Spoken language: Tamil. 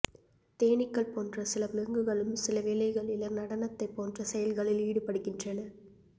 தேனீக்கள் போன்ற சில விலங்குகளும் சில வேளைகளில் நடனத்தைப் போன்ற செயல்களில் ஈடுபடுகின்றன